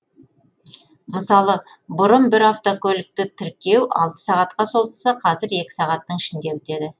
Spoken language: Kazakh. мысалы бұрын бір автокөлікті тіркеу алты сағатқа созылса қазір екі сағаттың ішінде бітеді